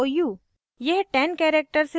kannan mou